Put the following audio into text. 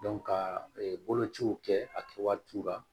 ka bolociw kɛ a kɛ waatiw la